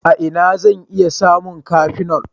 A ina zan sami cafenol?